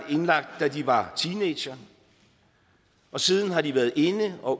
da de var teenagere og siden har de været inde og